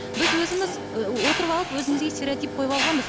біз өзіміз ыыы отырып алып өзімізге стеоретип қойып алғанбыз